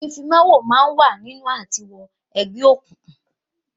Ìfimawo máa ń wà nínú àti wọ Egbe òkùnkùn